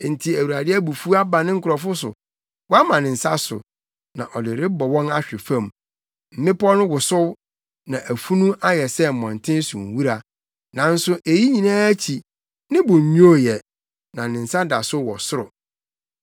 Enti Awurade abufuw aba ne nkurɔfo so, wama ne nsa so, na ɔde rebɔ wɔn ahwe fam. Mmepɔw no wosow, na afunu ayɛ sɛ mmɔnten so nwura. Nanso eyi nyinaa akyi, ne bo nnwoo ɛ, na ne nsa da so wɔ soro.